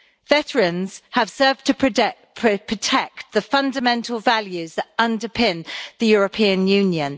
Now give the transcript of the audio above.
Veterans have served to protect the fundamental values that underpin the European Union.